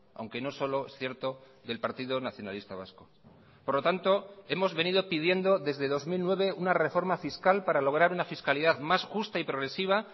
aunque no solo es cierto del partido nacionalista vasco por lo tanto hemos venido pidiendo desde dos mil nueve una reforma fiscal para lograr una fiscalidad más justa y progresiva